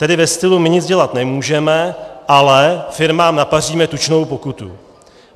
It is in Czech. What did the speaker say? Tedy ve stylu: "My nic dělat nemůžeme, ale firmám napaříme tučnou pokutu.